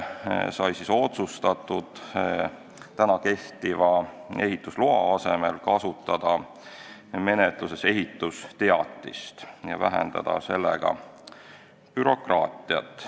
Sai otsustatud kehtiva ehitusloa asemel kasutada edaspidi menetluses ehitusteatist ja vähendada sellega bürokraatiat.